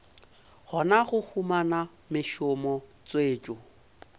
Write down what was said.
kgona go humana mešomo tswetšo